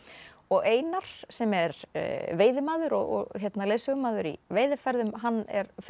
og Einar sem er veiðimaður og leiðsögumaður í veiðiferðum hann